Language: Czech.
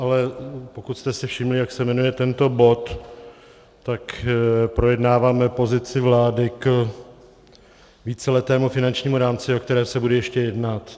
Ale pokud jste si všimli, jak se jmenuje tento bod, tak projednáváme pozici vlády k víceletému finančnímu rámci, o kterém se bude ještě jednat.